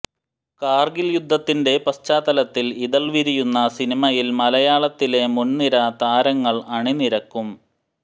കാർഗിൽ യുദ്ധത്തിന്റെ പശ്ചാത്തലത്തിൽ ഇതൾ വിരിയുന്ന സിനിമയിൽ മലയാളത്തിലെ മുൻനിര താരങ്ങൾ അണിനിരക്കും